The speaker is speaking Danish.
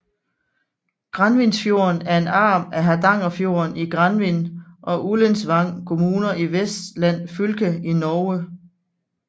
Granvinsfjorden er en arm af Hardangerfjorden i Granvin og Ullensvang kommuner i Vestland fylke i Norge